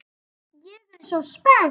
Ég er svo spennt.